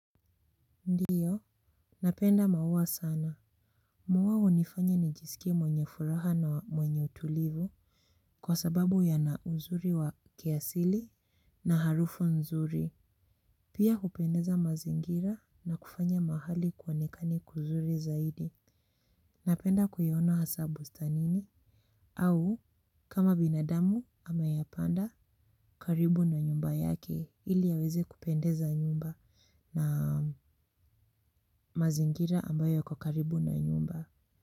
Ndiyo, napenda maua sana. Mau hunifanya ni jisikie mwenye furaha na mwenye utulivu kwa sababu ya na uzuri wa kiasili na harufu nzuri. Pia hupendeza mazingira na kufanya mahali kuonekane kuzuri zaidi. Napenda kuiona hasa bustani nini? Au kama binadamu ame yapanda karibu na nyumba yake ili yaweze kupendeza nyumba na mazingira ambayo kwa karibu na nyumba.